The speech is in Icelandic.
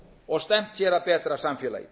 og stefnt hér að betra samfélagi